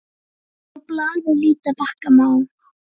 Á blaði líta bakka má.